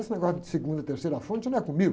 Esse negócio de segunda e terceira fonte não é comigo.